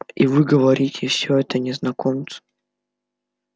и вы говорите всё это незнакомцу